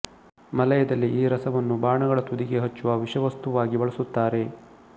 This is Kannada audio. ಮಲಯದಲ್ಲಿ ಈ ರಸವನ್ನು ಬಾಣಗಳ ತುದಿಗೆ ಹಚ್ಚುವ ವಿಷವಸ್ತ್ತುವಾಗಿ ಬಳಸುತ್ತಾರೆ